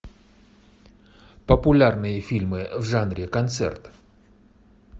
популярные фильмы в жанре концерт